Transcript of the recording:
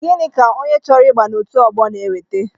Gịnị ka onye chọrọ ịba n'otu ọgbọ n'eweta?